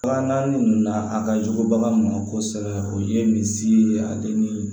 Bagan ninnu na a ka jugu bagan ma kosɛbɛ o ye misi ye ale ni